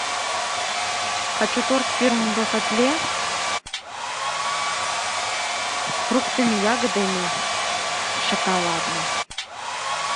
хочу торт фирмы бахетле с фруктами ягодами шоколадный